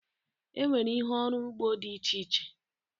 Enwere ihe ọrụ ugbo dị iche iche